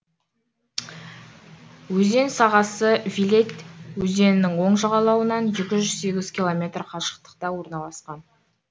өзен сағасы виледь өзенінің оң жағалауынан екі жүз сегіз километр қашықтықта орналасқан